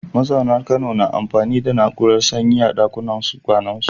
Mazaunan Kano na amfani da na’urar sanyi a ɗakunan kwanansu.